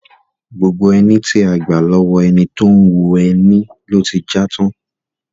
Gbogbo ẹní tí a gbà lọ́wọ́ ẹni tó ń hun ẹni ló ti já tán.